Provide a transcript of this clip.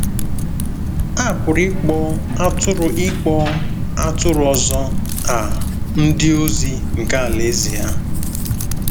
A pụrụ ịkpọ “atụrụ ịkpọ “atụrụ ọzọ” a “ndị ozi” nke Alaeze ya.